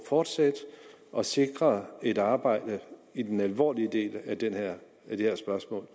fortsætte og sikre et arbejde i den alvorlige del af det her spørgsmål